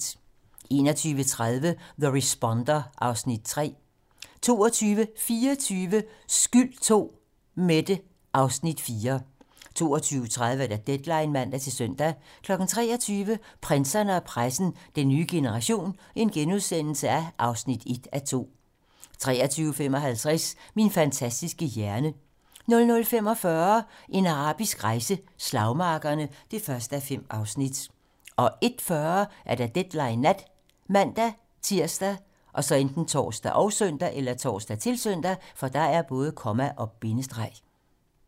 21:30: The Responder (Afs. 3) 22:24: Skyld II - Mette (Afs. 4) 22:30: Deadline (man-søn) 23:00: Prinserne og pressen - Den nye generation (1:2)* 23:55: Min fantastiske hjerne 00:45: En arabisk rejse: Slagmarkerne (1:5) 01:40: Deadline nat ( man-tir, tor, -søn)